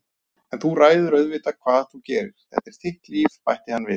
En þú ræður auðvitað hvað þú gerir, þetta er þitt líf- bætti hann við.